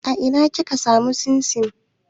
A ina kika samu man simsim?